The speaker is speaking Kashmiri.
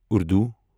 اردو